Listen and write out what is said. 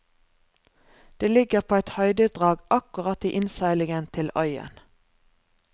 Det ligger på et høydedrag akkurat i innseilingen til øyen.